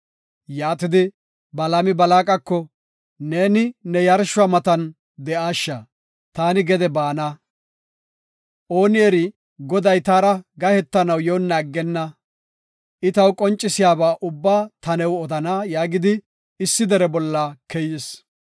Yaatidi, Balaami Balaaqako, “Neeni ne yarshuwa matan de7aasha; taani gede baana. Ooni eri Goday taara gahetanaw yoonna aggenna; I taw qoncisiyaba ubbaa ta new odana” yaagidi issi dere bolla keyis.